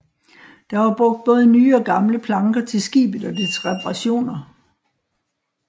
Der var brugt både nye og gamle planker til skibet og dets reparationer